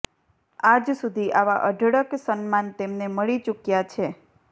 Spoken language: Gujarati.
આજ સુધી આવાં અઢળક સન્માન તેમને મળી ચૂક્યાં છે